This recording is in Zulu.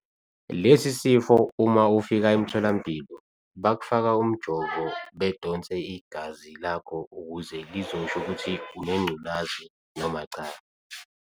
Lesi sifo uma ufika emtholampilo bakufaka umjovo bedonse igazi lakho ukuze lizosho ukuthi unengculazi noma cha.